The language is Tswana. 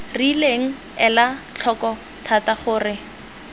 rileng ela tlhoko thata gore